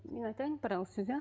мен айтайын бір ауыз сөз иә